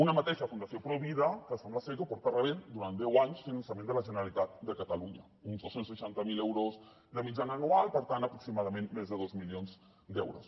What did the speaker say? una mateixa fundació provida que sembla ser que porta rebent durant deu anys finançament de la generalitat de catalunya uns dos cents i seixanta miler euros de mitjana anual per tant aproximadament més de dos milions d’euros